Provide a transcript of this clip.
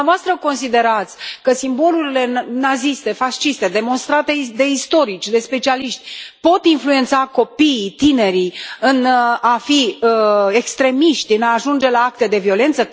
Dumneavoastră considerați că simbolurile naziste, fasciste, demonstrate de istorici, de specialiști, pot influența copiii, tinerii în a fi extremiști, în a ajunge la acte de violență?